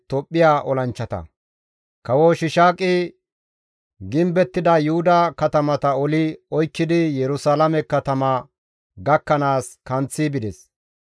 Kawo Shiishaaqi gimbettida Yuhuda katamata oli oykkidi Yerusalaame katama gakkanaas kanththi bides.